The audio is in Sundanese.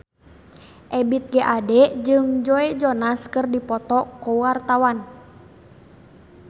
Ebith G. Ade jeung Joe Jonas keur dipoto ku wartawan